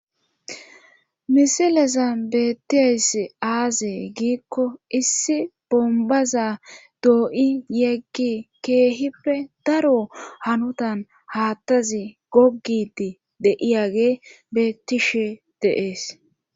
misileza beettiayss aazee giikko issi bombaza dooyi yeggi keehippe daro hanutan haattazi gogidi de7iyagey beettishe de7ees